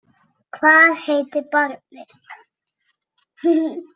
Hvað heitir barnið?